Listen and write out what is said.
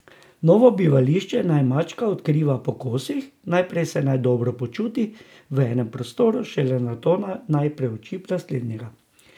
Novo bivališče naj mačka odkriva po kosih, najprej se naj dobro počuti v enem prostoru, šele nato naj preuči naslednjega.